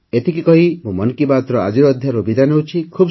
ଏତିକି କହି ମୁଁ ମନ୍ କି ବାତ୍ର ଆଜିର ଅଧ୍ୟାୟରୁ ବିଦାୟ ନେଉଛି